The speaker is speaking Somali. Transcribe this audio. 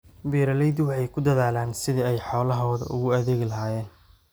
Beeraleydu waxay ku dadaalaan sidii ay xoolahooda ugu adeegi lahaayeen.